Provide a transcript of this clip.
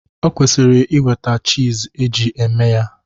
O kwesiri ị nweta chiz e ji eme ya.